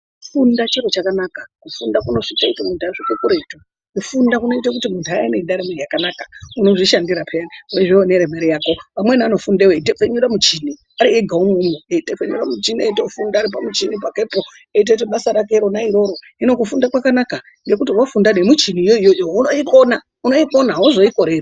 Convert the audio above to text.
Kufunda chiro chakanaka, kufunda kunotoita kuti muntu asvike kuretu. Kufunda kunoite kuti muntu ave nendaramo yakanaka. Unozvishandira peyani weione mare yako. Amweni anofunda eitepfenyura muchini ari ega umwomwo, eitepfenyura muchini eitofunda ari pamuchini pakepo, eitoite basa rake rona iroro, hino kufunda kwakanaka nekuti wafunda nemuchiniyo iyoyo yakona unoikona, unoyikona hauzoikoreri